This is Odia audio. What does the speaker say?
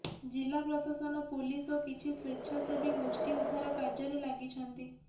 ଜିଲ୍ଲା ପ୍ରଶାସନ ପୋଲିସ ଓ କିଛି ସ୍ୱେଚ୍ଛାସେବୀ ଗୋଷ୍ଠୀ ଉଦ୍ଧାର କାର୍ଯ୍ୟରେ ଲାଗିଛନ୍ତି